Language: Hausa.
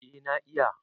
Eh na iya.